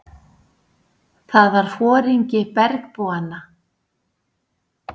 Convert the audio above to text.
Það var foringi bergbúanna.